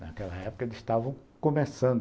Naquela época, eles estavam começando.